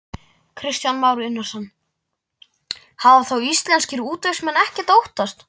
Kristján Már Unnarsson: Hafa þá íslenskir útvegsmenn ekkert að óttast?